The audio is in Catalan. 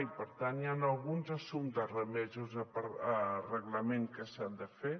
i per tant hi han alguns assumptes remesos a reglament que s’han de fer